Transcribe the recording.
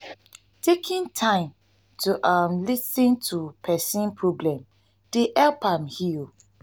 taking time to um lis ten to pesin problem dey um help am heal. um